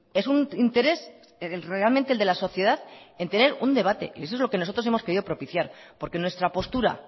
es un interés realmente el de la sociedad en tener un debate y eso es lo que nosotros hemos querido propiciar porque nuestra postura